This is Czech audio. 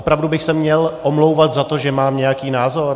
Opravdu bych se měl omlouvat za to, že mám nějaký názor?